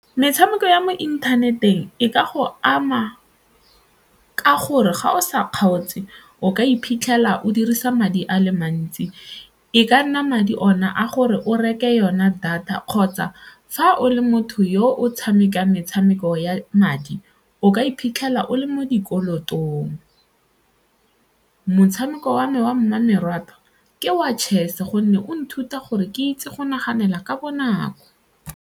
Metshameko ya mo inthaneteng e ka go ama ka gore ga o sa kgaotse o ka iphitlhela o dirisa madi a le mantsi, e ka nna madi ona a gore o reke yona data kgotsa fa o le mo motho yo o tshamekang metshameko ya madi o ka iphitlhela o le mo dikolotong. Motshameko wa me wa mmamoratwa ke wa chess gonne o nthuta gore ke itse go naganela ka bonako.